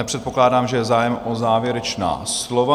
Nepředpokládám, že je zájem o závěrečná slova.